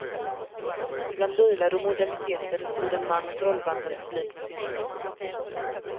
Bland bilar och moderniteter stod en man och trollband en publik med sin röst.